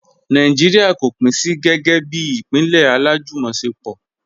Nàìjíríà kò pín sí gẹ́gẹ́ bí ìpínlẹ̀ alájùmọ̀ṣepọ̀.